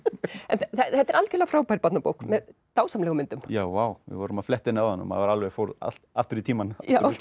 þetta er algjörlega frábær barnabók með dásamlegum myndum já vá við vorum að fletta henni áðan og maður fór aftur í tímann